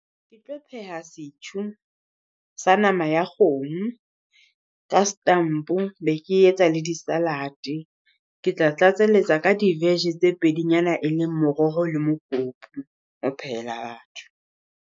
Ke tlo pheha setjhu sa nama ya kgomo ka stamp-o be ke etsa le di-salad. Ke tla tlatselletsa ka di-vege tse pedinyana e leng moroho le mokopi o phehela batho.